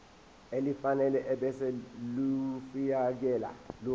elifanele ebese ulifiakela